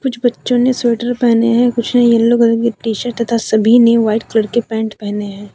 कुछ बच्चों ने स्वेटर पहने हैं कुछ ने येलो कलर की टी शर्ट तथा सभी ने व्हाइट कलर की पैंट पहने हैं।